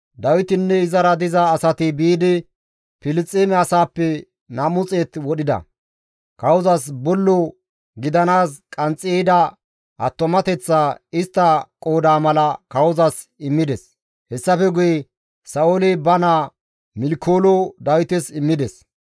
Dawitinne izara diza asati biidi Filisxeeme asaappe nam7u xeet wodhida; kawozas bollo gidanaas qanxxi ehida attumateththaa istta qooda mala kawozas immides; hessafe guye Sa7ooli ba naa Milkoolo Dawites immides.